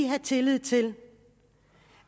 have tillid til